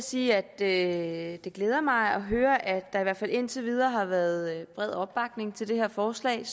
sige at det glæder mig at høre at der i hvert fald indtil videre har været bred opbakning til det her forslag